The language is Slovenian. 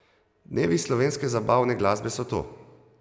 Dnevi slovenske zabavne glasbe so tu!